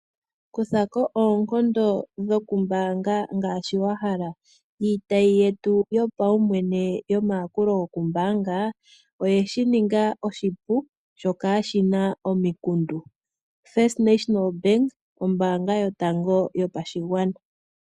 Kuthako oonkondo dho kombaanga ngaashi wahala. Iitayi yetu yopaumwene yomayakulo gombaanga iyeshi ninga oshipu sho kashina omikundu First National Bank, ombaanga yotango yopashigwana.